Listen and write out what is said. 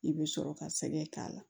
I bɛ sɔrɔ ka sɛgɛn k'a la